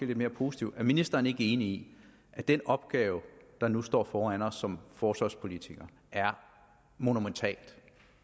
lidt mere positivt er ministeren ikke enig i at den opgave der nu står foran os som forsvarspolitikere er monumental og